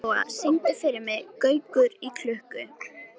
Heiðlóa, syngdu fyrir mig „Gaukur í klukku“.